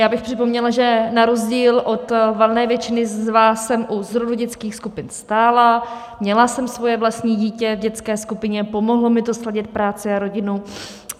Já bych připomněla, že na rozdíl od valné většiny z vás jsem u zrodu dětských skupiny stála, měla jsem svoje vlastní dítě v dětské skupině, pomohlo mi to sladit práci a rodinu.